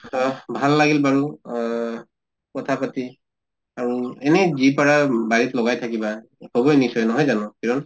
অহ ভাল লাগিল বাৰু অহ কথা পাতি আৰু এনে যি পাৰা বাৰিত লগাই থাকিবা হʼব নিশ্চয় নহয় জানো কিৰণ?